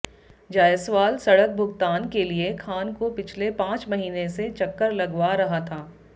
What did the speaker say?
जायसवाल सड़क भुगतान के लिए खान को पिछले पांच महीने से चक्कर लगवा रहा था